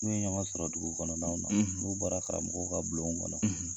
N'u ye ɲɔgɔn sɔrɔ dugu kɔnɔnanaw n'u bɔra karamɔgɔw ka bulon kɔnɔ